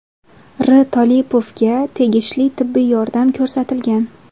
R. Tolipovga tegishli tibbiy yordam ko‘rsatilgan.